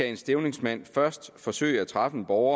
en stævningsmand først skal forsøge at træffe en borger